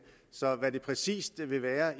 så hvad det præcis vil være